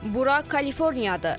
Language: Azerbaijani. Bura Kaliforniyadır.